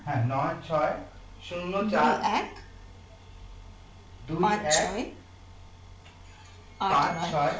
হ্যাঁ নয় ছয় শূন্য চার দুই এক পাঁচ ছয়